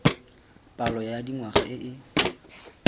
palo ya dingwaga e e